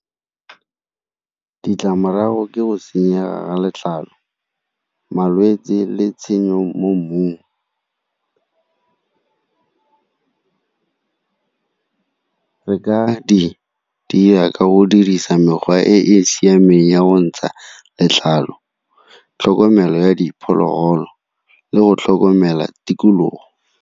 Ditlamorago ke go senyega ga letlalo, malwetse le tshenyo mo mmung re ka di dira ka go dirisa mekgwa e e siameng ya go ntsha letlalo, tlhokomelo ya diphologolo le go tlhokomela tikologo.